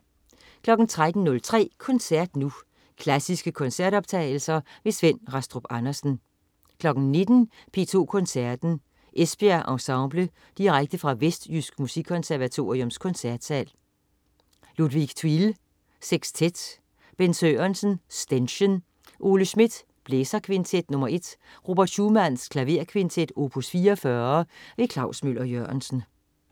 13.03 Koncert Nu. Klassiske koncertoptagelser. Svend Rastrup Andersen 19.00 P2 Koncerten. Esbjerg Ensemble. Direkte fra Vestjysk Musikkonservatoriums Koncertsal. Ludwig Thuille: Sekstet. Bent Sørensen: Ständchen. Ole Schmidt: Blæserkvintet nr. 1. Robert Schumann: Klaverkvintet, opus 44. Klaus Møller-Jørgensen